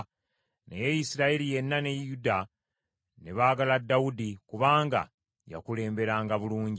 Naye Isirayiri yenna ne Yuda ne baagala Dawudi, kubanga yakulemberanga bulungi.